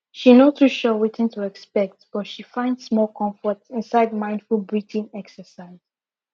she no too sure wetin to expect but she find small comfort inside mindful breathing exercise